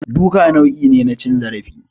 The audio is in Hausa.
Duka nau'i ne na cin zarafi